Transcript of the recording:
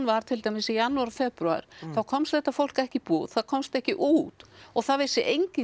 var til dæmis í janúar og febrúar þá komst þetta fólk ekki í búð það komst ekki út og það vissi enginn